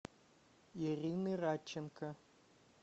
ирины радченко